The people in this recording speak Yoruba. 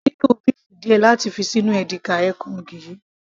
mo nílò béèfù díẹ̀ láti fi ṣí inú edika-ekong yìí